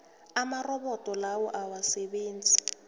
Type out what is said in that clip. amarobodo lawa awasasebenzi